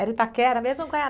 Era Itaquera mesmo ou